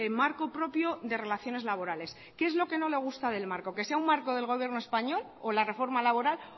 marco propio de relaciones laborales qué es lo que no le gusta del marco que sea un marco del gobierno español o la reforma laboral